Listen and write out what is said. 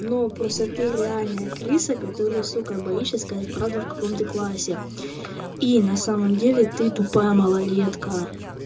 но просто ты реальная крыса которая сука боишься сказать правду в каком ты классе и на самом деле ты тупая малолетка